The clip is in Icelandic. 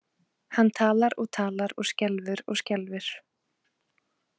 Hann talar og talar og skelfur og skelfur.